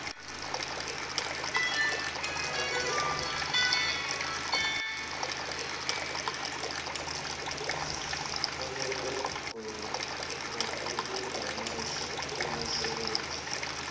ebekwe ngokulinganiswa kwemisebenzi